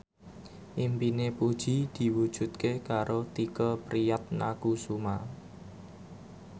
impine Puji diwujudke karo Tike Priatnakusuma